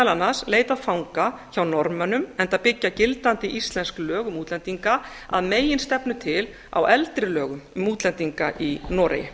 annars leitað fanga hjá norðmönnum enda byggja gildandi íslensk lög um útlendinga að meginstefnu til á eldri lögum um útlendinga í noregi